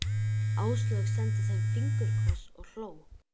Áslaug sendi þeim fingurkoss og hló.